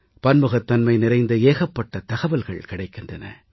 பன்முகத்தன்மை நிறைந்த ஏகப்பட்ட தகவல்கள் கிடைக்கின்றன